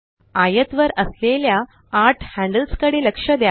आयत वर असलेल्या आठ हॅंडल्सकडे लक्ष द्या